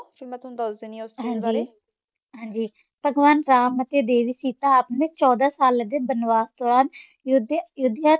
ਹਾਂਜੀ ਠੀਕ ਆ। ਫਿਰ ਮੈਂ ਤੁਹਾਨੂੰ ਦੱਸ ਦਿੰਦੀ ਹਾਂ ਉਸ ਚੀਜ਼ ਬਾਰੇ। ਹਾਂਜੀ ਹਾਂਜੀ ਭਗਵਾਨ ਰਾਮ ਅਤੇ ਦੇਵੀ ਸੀਤਾ ਅਪਨੇ ਚੋਦਾਂ ਸਾਲਾਂ ਦੇ ਬਨਵਾਸ ਤੋਂ ਬਾਅਦ ਯੁੱਧਿਆ-ਅਯੁੱਧਿਆ